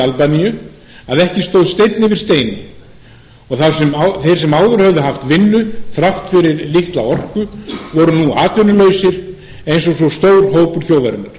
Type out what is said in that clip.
albaníu að ekki stóð steinn yfir steini og þeir sem áður höfðu haft vinnu þrátt fyrir litla orku voru nú atvinnulausir eins og svo stór hópur þjóðarinnar